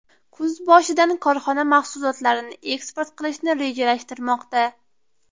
Kuz boshidan korxona mahsulotlarini eksport qilishni rejalashtirmoqda.